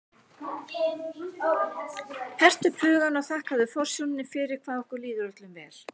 Hertu upp hugann og þakkaðu forsjóninni fyrir hvað okkur líður öllum vel.